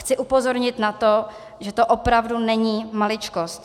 Chci upozornit na to, že to opravdu není maličkost.